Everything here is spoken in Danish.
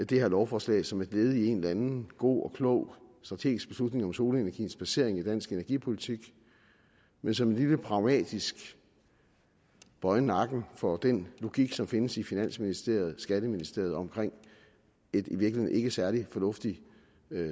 det her lovforslag som et led i en eller anden god og klog strategisk beslutning om solenergiens placering i dansk energipolitik men som en lille pragmatisk bøje nakken for den logik som findes i finansministeriet og skatteministeriet om et i virkeligheden ikke særlig fornuftigt